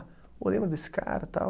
Pô, lembra desse cara, tal.